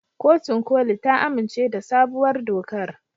Kotun koli ta amince da sabuwar dokar.